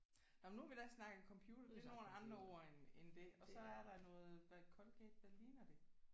Nåh men nu har vi da snakket computer det er nogle andre ord end end det og så er der noget hvad Colgate hvad ligner det?